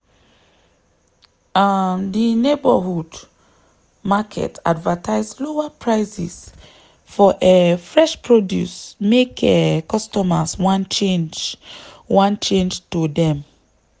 um di neighborhood market advertise lower prices for um fresh produce make um customers wan change wan change to dem.